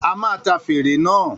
A máa ta fèrè náà